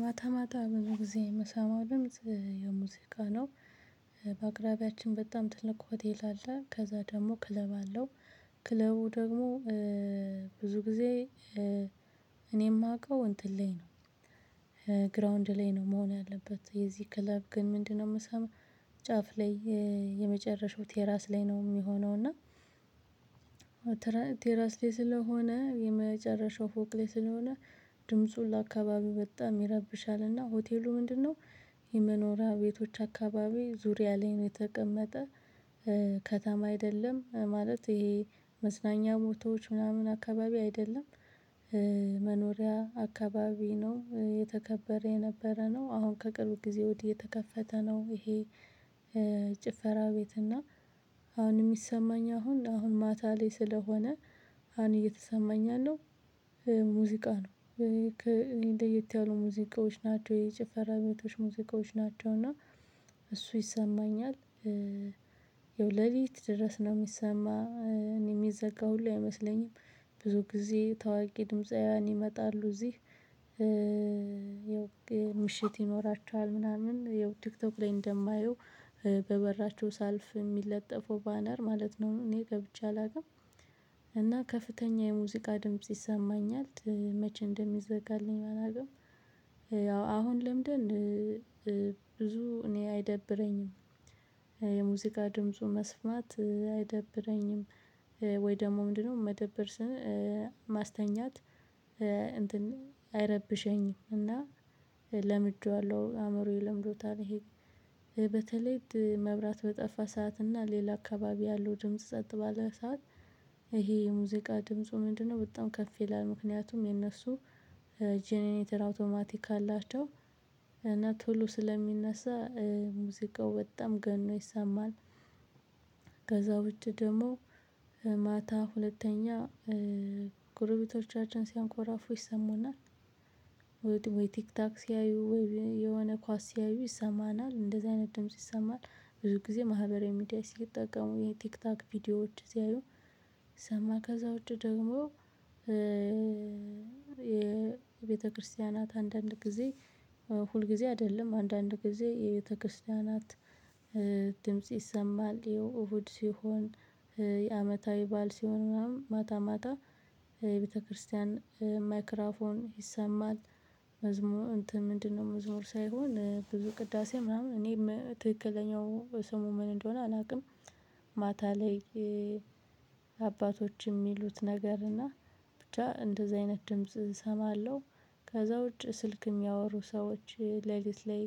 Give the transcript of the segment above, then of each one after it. ማታ ማታ ብዙ ጊዜ የምሰማው ድምጽ ሙዚቃ ነው። በአቅራቢያችን በጣም ትልቅ ሆቴል አለ ከዛ ደግሞ ክለብ አለው። ክለቡ ደግሞ ብዙ ጊዜ እኔ የማውቀው እንትን ላይ ነው። ግራውንድ ላይ ነው መሆን ያለበት የዚህ ክለብ ግን ምንድነው? የምሰማው ጫፍ ላይ የመጨረሻው ቴራዝ ላይ ነው የሚሆነው እና። ቴራስ ላይ ስለሆነ የመጨረሻው ፎቅ ላይ ስለሆነ ድምፁ ለአካባቢው በጣም ይረብሻልና ሆቴሉ ምንድነው? የመኖሪያ ቤቶች አካባቢ ዙሪያ ላይ ነው የተቀመጠ። ከተማ አይደለም ማለት ይሄ መዝናኛ ቦታዎች ምናምን አካባቢ አይደለም። መኖሪያ አካባቢ ነው የተከበረ የነበረ ነው አሁን ከቅርብ ጊዜ ወዲህ የተከፈተ ነው ይሄ። ጭፈራ ቤት እና አሁን የሚሰማኝ አሁን አሁን ማታ ላይ ስለሆነ አሁን እየተሰማኝ ያለው ሙዚቃ ነው። ለየት ያሉ ሙዚቃዎች ናቸው የጭፈራ ቤቶች ሙዚቃዎች ናቸው እና እሱ ይሰማኛል። ያው ለሊት ድረስ ነው ሚሰማ የሚዘጋ ሁሉ አይመስለኝም። ብዙ ጊዜ ታዋቂ ድምፃውያን ይመጣሉ እዚህ። ምሽት ይኖራቸዋል ምናምን ያው ቲክቶክ ላይ እንደማየው በበራቸው ሳልፍ የሚለጠፈው ባነር ማለት ነው እኔ ገብቼ አላውቅም። እና ከፍተኛ የሙዚቃ ድምጽ ይሰማኝል መቼ እንደሚዘጋልኝ አላውቅም። ያው አሁን ለምደን ብዙ እኔ አይደብረኝም። የሙዚቃ ድምፁ መስማት አይደብረኝም። ወይ ደግሞ ምንድነው? መደብር ማስተኛት እንትን አይረብሸኝም እና ለምጀዋለሁ አእምሮዬ ለምዶታል ይሄ። በተለይ መብራት በጠፋ ሰዓት እና ሌላ አካባቢ ያለው ድምጽ ጸጥ ባለ ሰዓት። ይሄ የሙዚቃ ድምፁ ምንድነው? በጣም ከፍ ይላል ምክንያቱም የነሱ ጀነሬተር አውቶማቲክ አላቸው እና ቶሎ ስለሚነሳ ሙዚቃው በጣም ገኖ ይሰማል። ከዛ ውጪ ደግሞ ማታ ሁለተኛ ጎረቤቶቻችን ሲያንኮራፉ ይሰሙናል። ወይ ወይ ቲክታክ ሲያዩ ወይ የሆነ ኳስ ሲያዩ ይሰማናል እንደዚህ አይነት ድምጽ ይሰማናል። ብዙ ጊዜ ማህበራዊ ሚዲያ ሲጠቀሙ የቲክታክ ቪዲዮዎች ሲያዩ ይሰማል ከዛ ውጭ ደግሞ የቤተክርስቲያናት አንዳንድ ጊዜ ሁልጊዜ አይደለም አንዳንድ ጊዜ የቤተክርስቲያናት ድምጽ ይሰማል። ያው እሁድ ሲሆን የአመታዊ ባል ሲሆን ምናምን ማታ ማታ የቤተክርስቲያን ማይክራፎን ይሰማል። መዝሙር እንትን ምንድነው? መዝሙር ሳይሆን ብዙ ቅዳሴ ምናምን እኔ ትክክለኛው ስሙ ምን እንደሆነ አላቅም። ማታ ላይ አባቶች የሚሉት ነገር እና ብቻ እንደዚህ አይነት ድምጽ እሰማለሁ። ከዛ ውጪ ስልክ የሚያወሩ ሰዎች ለሊት ላይ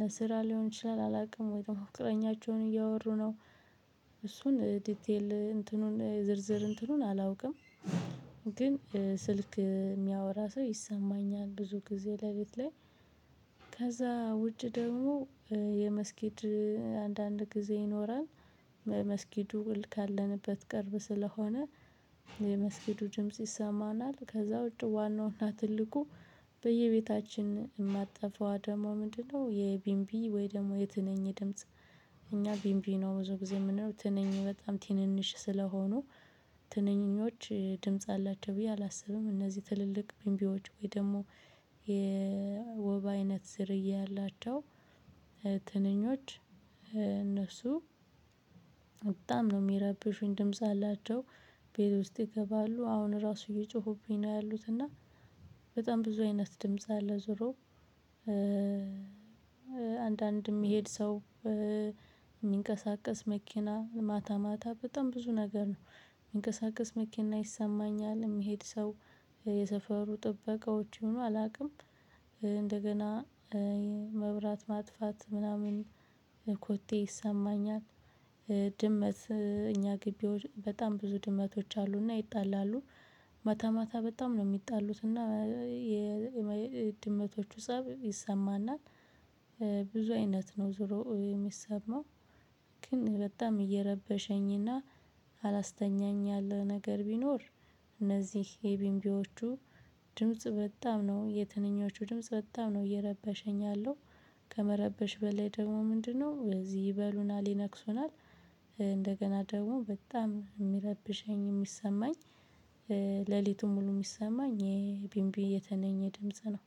ለስራ ሊሆን ይችላል አላውቅም ወይም ፍቅረኛቸውን እያወሩ ነው። እሱን ዲቴል እንትኑን ዝርዝር እንትኑን አላውቅም። ግን ስልክ የሚያወራ ሰው ይሰማኛል ብዙ ጊዜ ለሊት ላይ። ከዛ ውጭ ደግሞ የመስጊድ አንዳንድ ጊዜ ይኖራል። መስጊድ ውል ካለንበት ቅርብ ስለሆነ የመስጊዱ ድምጽ ይሰማናል። ከዛ ውጪ ዋናውና ትልቁ በየቤታችን የማትጠፋው ደግሞ ምንድነው? የቢንቢ ወይ ደግሞ የትንኝ ድምጽ። እኛ ቢንቢ ነው ብዙ ጊዜ የምንለው ትንኝ በጣም ትንንሽ ስለሆኑ ትንኝች ድምጽ አላቸው ብዬ አላስብም። እነዚህ ትልልቅ ቢምቢዎች ወይ ደግሞ የወባ አይነት ዝርያ ያላቸው ትንኞች እነሱ በጣም ነው የሚረብሹኝ ድምጽ አላቸው። ቤት ውስጥ ይገባሉ አሁን ራሱ እየጮሁብኝ ነው ያሉት እና በጣም ብዙ አይነት ድምጽ አለ። ዞሮ አንዳንድ የሚሄድ ሰው የሚንቀሳቀስ መኪና ማታ ማታ በጣም ብዙ ነገር ነው። የሚንቀሳቀስ መኪና ይሰማኛል የሚሄድ ሰው የሰፈሩ ጥበቃዎች ይሁኑ አላውቅም። እንደገና መብራት ማጥፋት ምናምን ኮቴ ይሰማኛል። ድመት እኛ ግቢ በጣም ብዙ ድመቶች አሉና ይጣላሉ። ማታ ማታ በጣም ነው የሚጣሉት እና የድመቶቹ ፀብ ይሰማናል። ብዙ አይነት ነው ዙሮ የሚሰማው። ግን በጣም እየረበሸኝና አላስተኛኝ ያለ ነገር ቢኖር እነዚህ የቢንቢዎቹ ድምጽ በጣም ነው የትንኞቹ ድምጽ በጣም ነው እየረበሸኝ ያለው። ከመረበሽ በላይ ደግሞ ምንድነው? እዚህ ይበሉናል ይነክሱናል። እንደገና ደግሞ በጣም የሚረብሸኝ የሚሰማኝ ሌሊቱን ሙሉ የሚሰማኝ የቢምቢ የትንኝ ድምጽ ነው።